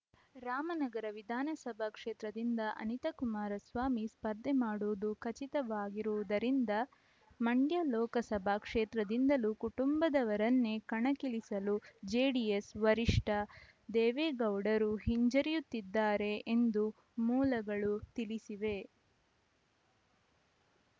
ರಾಮನಗರ ವಿಧಾನಸಭಾ ಕ್ಷೇತ್ರದಿಂದ ಅನಿತಾ ಕುಮಾರಸ್ವಾಮಿ ಸ್ಪರ್ಧೆ ಮಾಡುವುದು ಖಚಿತವಾಗಿರುವುದರಿಂದ ಮಂಡ್ಯ ಲೋಕಸಭಾ ಕ್ಷೇತ್ರದಿಂದಲೂ ಕುಟುಂಬದವರನ್ನೇ ಕಣಕ್ಕಿಳಿಸಲು ಜೆಡಿಎಸ್‌ ವರಿಷ್ಠ ದೇವೇಗೌಡರು ಹಿಂಜರಿಯುತ್ತಿದ್ದಾರೆ ಎಂದು ಮೂಲಗಳು ತಿಳಿಸಿವೆ